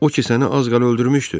O ki səni az qala öldürmüşdü!